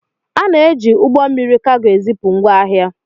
Ana-eji ụgbọ mmiri kago ezipu ngwá ahịa.